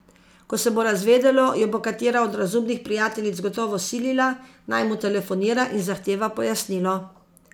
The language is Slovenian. Ko se bo razvedelo, jo bo katera od razumnih prijateljic gotovo silila, naj mu telefonira in zahteva pojasnilo.